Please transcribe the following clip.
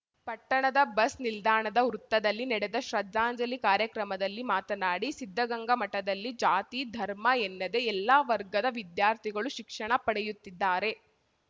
ಪಟ್ಟಣದ ಬಸ್‌ ನಿಲ್ದಾಣದ ವೃತ್ತದಲ್ಲಿ ನಡೆದ ಶ್ರದ್ಧಾಂಜಲಿ ಕಾರ್ಯಕ್ರಮದಲ್ಲಿ ಮಾತನಾಡಿ ಸಿದ್ಧಗಂಗ ಮಠದಲ್ಲಿ ಜಾತಿ ಧರ್ಮ ಎಲ್ಲದೆ ಎಲ್ಲಾ ವರ್ಗದ ವಿದ್ಯಾರ್ಥಿಗಳು ಶಿಕ್ಷಣ ಪಡೆಯುತ್ತಿದ್ದಾರೆ